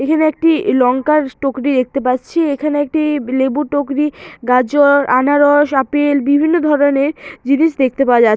এখানে একটি লঙ্কার টোকরি দেখতে পাচ্ছি এখানে একটি লেবু টোকরি গাজর আনারস আপেল বিভিন্ন ধরনের জিনিস দেখতে পাওয়া যা--